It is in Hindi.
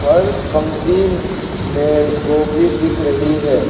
हर पंक्ति में गोभी दिख रही है।